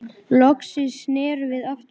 Loksins snerum við aftur heim.